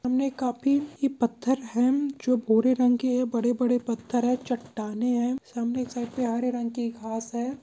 हमने काफी ये पत्थर है जो भूरे रंग के हैबड़े बड़े पत्थर हैचट्टानें है सामने के साइड पे हरे रंग की घास है।